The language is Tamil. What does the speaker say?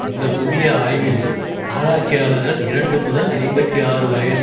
இந்த புதிய ஆய்வில் ஆராய்ச்சியாளர்கள் இரண்டு முதல் ஐம்பத்தி ஆறு வயது